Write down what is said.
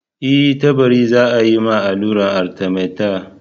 E, Tabari za a yi ma alluran Arthemether.